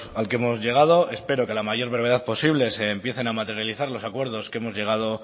al que hemos llegado espero que a la mayor brevedad posible se empiecen a materializar los acuerdos que hemos llegado